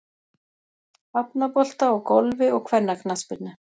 Hafnabolta og Golfi og kvennaknattspyrnu.